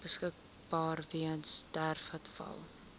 beskikbaar weens sterfgevalle